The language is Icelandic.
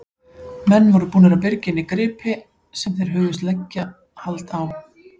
Menn voru búnir að byrgja inni gripi sem þeir hugðust leggja hald á.